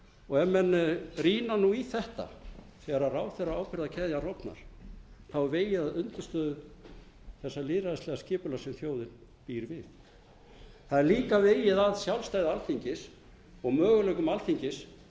og ef menn rýna í þetta þegar ábyrgðaráðherrakeðjan rofnar þá er vegið að undirstöðu þessa lýðræðislega skipulags sem þjóðin býr við það er líka vegið að sjálfstæði alþingis og möguleikum alþingis